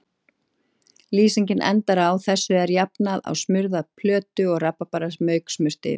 Lýsingin endar á: Þessu er jafnað á smurða plötu og rabarbaramauk smurt yfir.